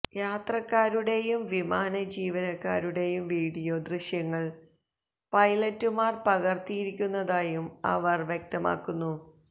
യാത്രക്കാരുടെയും വിമാന ജീവനക്കാരുടെയും വീഡിയോ ദൃശ്യങ്ങള് പൈലറ്റുമാര് പകര്ത്തിയിരുന്നതായും അവര് വ്യക്തമാക്കുന്നു